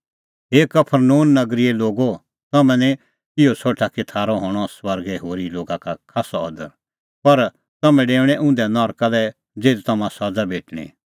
हे कफरनहूम नगरीए लोगो तम्हैं निं इहअ सोठा कि थारअ हणअ स्वर्गै होरी लोगा का खास्सअ अदर पर तम्हैं डेऊणैं उंधै नरका लै ज़िधी तम्हां सज़ा भेटणीं